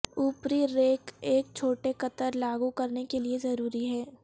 اوپری ریک ایک چھوٹے قطر لاگو کرنے کے لئے ضروری ہے